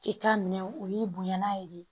I ka minɛw u y'i bonya n'a ye de